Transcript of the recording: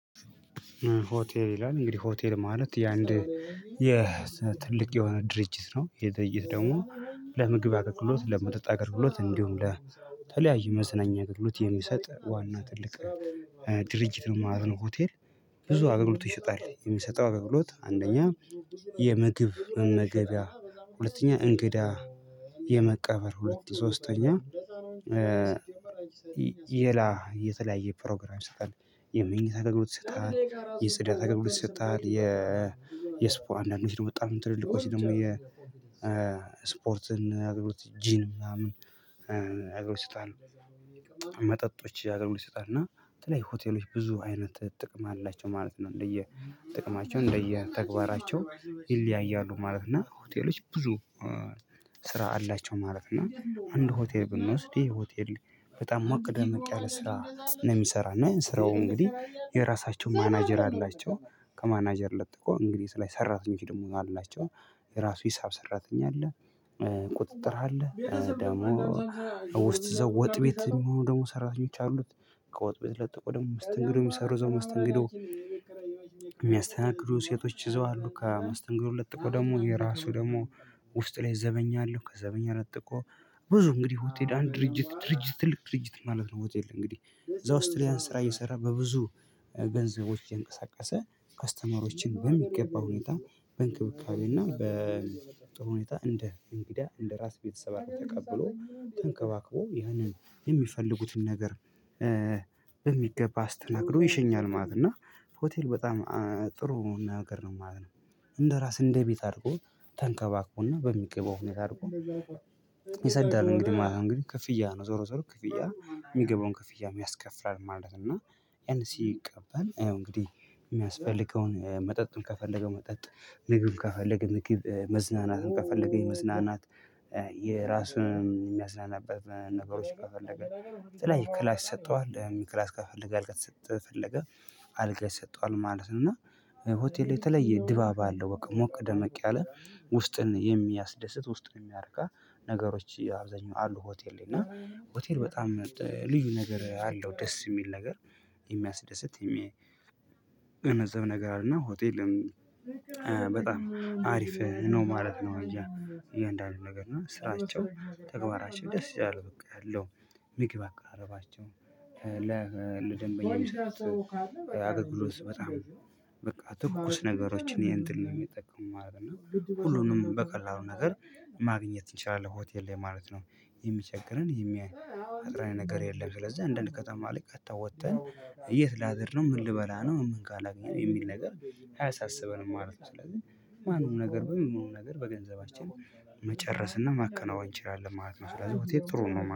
ሆቴል ይላል እንግዲህ ሆቴል ማለት የአንድ የ የትልቅ የሆነ ድርጅት ነው። ይህ ድርጅት ደግሞ ለምግብ አገልግሎት ለመጠጥ አገልግሎት እንዲሁም ለተለያዩ መዝነኛ አገልግሎት የሚሰጥ ዋና ትልቅ ድርጅት ነው ማለት ነው። ሆቴል። ብዙ አገልግሎት ይሰጣል። የሚሰጠው አገልግሎት አንደኛ የምግብ መመገብያ ሁለተኛ እንግዳ የመቀበል ሁለት ሶስተኛ የላ የተለያየ ፕሮግራም ይሰጣል። የመንኝታ አገልግሎት ይሰጣል የጽዳት አገልግሎት ይሰጣ የስፖ አንዳንዶች ነው በጣም ትልልቆች ደግሞ የ ስፖርትን አገልግሎት ጂም ምናምን አገልግሎት ይሰጣል። መጠጦች አገልግሎ ይሰጣል እና የተለያዩ ሆቴሎች ብዙ አይነት ጥቅም አላቸው ማለት ነው። እንደየ ጥቅማቸው እንደየ ተግባራቸው ይለያያሉ። ማለት እና ሆቴሎች ብዙ ስራ አላቸው ማለት ነው። እና አንድ ሆቴል ብንወስድ ይሄ ሆቴል በጣም ሞቅ ደመቅ ያለ ስራ ነው። የሚሰራና ይሄን ስራው እንግዲህ የራሳቸው ማናጀር አላቸው። ከማናጀር ለጥቆ እንግዲህ ላይ ሰራተኞች ደግሞ አላቸው። የራሱ ሂሳብ ሰራተኛ አለ። ቁጥጥር አለ ደግሞ። ውስጥ ወጥ ቤት የሚሆኑ ደግሞ ሰራተኞች አሉት። ከወጥ ቤት ለጥቆ ደግሞ መስትንግዱን የሚሰሩ እዛው መስተንግዶ። የሚያስተናግዱ ሴቶች ይዘዋሉ ከመስተንግዱ ለጥቆ ደግሞ የራሱ ደግሞ ውስጥ ላይ ዘበኛ አለው። ከዘበኛ ለጥቆ ብዙ እንግዲህ ሆቴል አንድ ድርጅት ድርጅት ትልቅ ድርጅት ማለት ነው። ሆቴል እንግዲህ እዛ ውስጥ ላይ ስራ እየሰራ በብዙ ገንዘቦች እየንቀሳቀሰ ከስተመሮችን በሚገባ ሁኔታ በእንክብካቤ እና በጥሩ ሁኔታ እንደ እንግዳ እንደ ራስ ቤተሰብ አቅርቦ ተቀብሎ ተንከባክቦ ያንን የሚፈልጉትን ነገር። በሚገባ አስተናግዶ ይሸኛል ማለት ነው። እና ሆቴል በጣም ጥሩ ነገር ነው ማለት ነው። እንደራስ እንደቤት አድርጎ ተንከባክቦና በሚገባው ሁኔታ አድርጎ ይሰዳል። እንግዲህ ማለት እንግዲህ ክፍያ ነው ዞሮ ዞሮ ክፍያ ነው የሚገባውን ክፍያ የሚያስከፍላል ማለት ነው። ያን ሲቀበል ያው እንግዲህ የሚያስፈልገውን መጠጡን ከፈለገ መጠጥ ምግብን ከፈለገ ምግብ መዝናናትን ከፈለገ የመዝናናት የራሱን የሚያዝናናበት ነገሮች ከፈለገ በተለይ ክላስ ይሰጠዋል የሚክል ክላስ አልጋ ከፈለገ። አልጋ ይሰጠዋል ማለት ነው። እና ሆቴል የተለየ ድባብ አለው በቃ ሞቅ ደመቅ ያለ ውስጥን የሚያስደስት ውስጥን የሚያረካ። ነገሮች አብዛኛው አሉ ሆቴል ላይ እና ሆቴል በጣም ልዩ ነገር አለው ደስ የሚል ነገር። የሚያስደስት የሚገነዘብ ነገር አለና ሆቴልም በጣም አሪፍ ነው ማለት ነው። እንጂ እንዳሉ ነገር እና ስራቸው ተግባራቸው ደስ ይላል በቃ ያለው ምግብ አቀራረባቸው። ለደንበኛ አገልግሎት በጣም በቃ ትኩስ ነገሮችን ይሄን ድል ነው የሚጠቀሙ ማለት ነው። ሁሉንም በቀላሉ ነገር ማግኘት እንችላለን ሆቴል ላይ ማለት ነው። የሚቸገረን የሚያይ ነገር የለም። ስለዚህ እንዳንድ ከተማ ላይ ቀጥታ ወጥተን የት ላድር ነው ምን ልበላ ነው? ምን አልጋ ላገኘን የሚል ነገር አያሳስበንም ማለት ነው። ስለዚህ ማንም ነገር በምንም ነገር በገንዘባችን መጨረስና ማከናወን እንችላለን ማለት ነው። ስለዚህ ሆቴል ጥሩ ነው